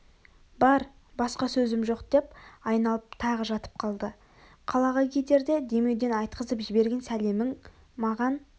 бар басқа сөзім жоқ деп айналып тағы жатып қалды қалаға кетерде демеуден айтқызып жіберген сәлемің маған